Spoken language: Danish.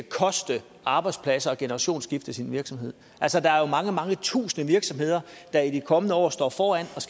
koste arbejdspladser et generationsskifte i sin virksomhed altså der er jo mange mange tusinde virksomheder der i de kommende år står foran